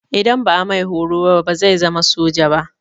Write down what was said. Idan ba a mi horo ba bazai zama soja ba.